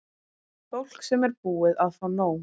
Fólk sem er búið að fá nóg.